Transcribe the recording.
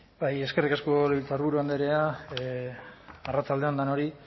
bai eskerrik asko legebiltzarburu andrea arratsalde on denori